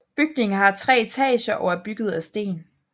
Bygningen har tre etager og er bygget af sten